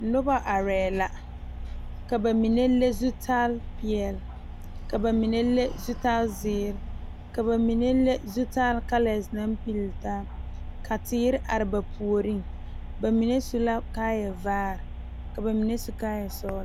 Noba are la ka bamine le zutal peɛle, ka bamine le zutal ziiri ,ka bamine le zutal kalɛɛ naŋ puli taa ka teere are ba puori bamine su la kaaya vaare ka bamine su kaaya sɔglɔ.